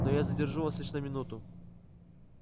но я задержу вас лишь на минуту